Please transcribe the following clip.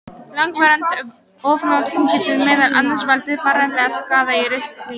Langvarandi ofnotkun getur meðal annars valdið varanlegum skaða í ristlinum.